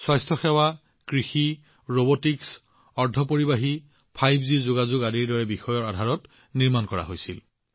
স্বাস্থ্যসেৱা কৃষি robotics semiconductor ৫জি যোগাযোগ এই প্ৰকল্পবোৰ এনে বহুতো বিষয়ৰ ওপৰত নিৰ্মাণ কৰা হৈছিল